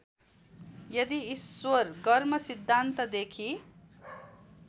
यदि ईश्वर गर्मसिद्धान्तदेखि